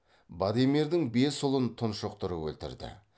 бадемирдің бес ұлын тұншықтырып өлтірді